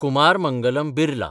Kumar Mangalam Birla